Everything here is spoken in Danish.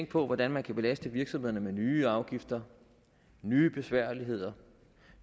på hvordan man kan belaste virksomhederne med nye afgifter nye besværligheder